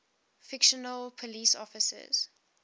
fictional police officers